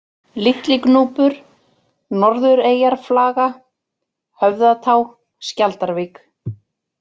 Litlignúpur, Norðureyjarflaga, Höfðatá, Skjaldarvík